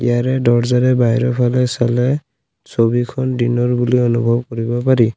ইয়াৰে দৰ্জাৰে বাহিৰৰ ফালে চালে ছবিখন দিনৰ বুলি অনুভৱ কৰিব পাৰি।